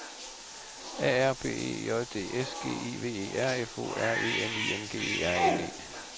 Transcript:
A R B E J D S G I V E R F O R E N I N G E R N E